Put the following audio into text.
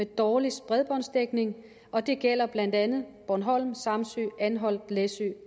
dårligste bredbåndsdækning og det gælder blandt andet bornholm samsø anholt læsø